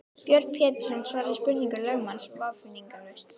Björn Pétursson svaraði spurningum lögmanns vafningalaust.